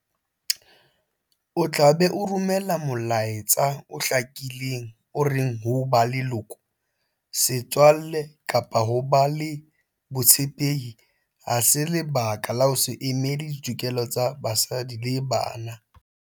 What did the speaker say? O tla be o romela molaetsa o hlakileng o reng ho ba leloko, setswalle kapa ho ba le botshepehi ha se lebaka la ho se emele ditokelo tsa basadi le bana.